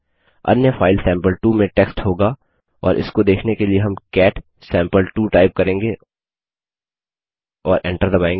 अन्य file sample two में text होगा और इसको देखने के लिए हम कैट सैंपल2 टाइप करेंगे और एंटर दबायेंगे